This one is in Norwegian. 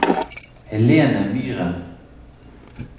Helene Myren